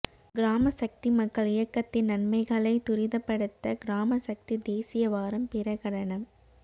கிராமசக்தி மக்கள் இயக்கத்தின் நன்மைகளை துரிதப்படுத்த கிராமசக்தி தேசிய வாரம் பிரகடனம்